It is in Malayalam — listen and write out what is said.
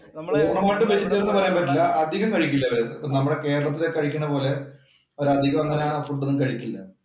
പൂർണ്ണമായിട്ടും വെജിറ്റേറിയന്‍ എന്ന് പറയാൻ പറ്റില്ല അധികം കഴിക്കില്ല അവര്. നമ്മടെ കേരളത്തില്‍ കഴിക്കണ പോലെ അവര് അധികം അങ്ങനെ ആ ഫുഡ് ഒന്നും കഴിക്കില്ല.